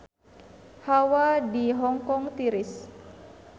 Hawa di Hong Kong tiris